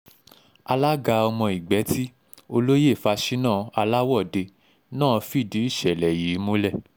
alága ọmọ ìgbẹ́tí olóyè faṣínà aláwọ̀de náà fìdí ìṣẹ̀lẹ̀ yìí múlẹ̀